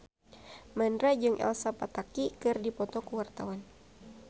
Mandra jeung Elsa Pataky keur dipoto ku wartawan